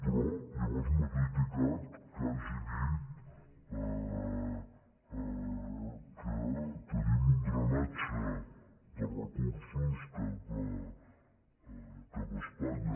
però llavors m’ha criticat que hagi dit que tenim un drenatge de recursos cap a espanya